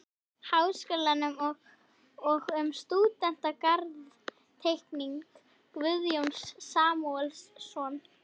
Háskólans og um stúdentagarð-Teikning Guðjóns Samúelssonar